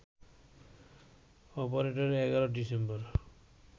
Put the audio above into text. অপারেটরটি ১১ December